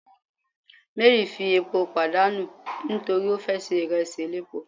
Mary fi epo padanu nitori o fe se iresi elépo